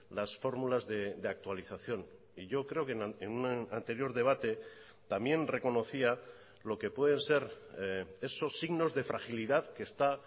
las fórmulas de actualización y yo creo que en un anterior debate también reconocía lo que pueden ser esos signos de fragilidad que está